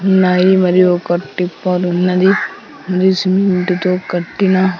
naive అని ఒక టిప్పరున్నది న్యూ సిమెంటు తో కట్టిన--